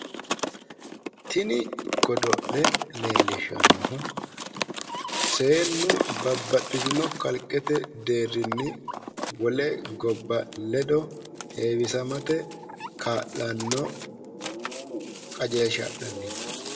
tini godo'le leelishanohu seenu babaxitino kalqete deerrinni wole gobba ledo heewisamate ka'lanno qajeelsha adhanni no .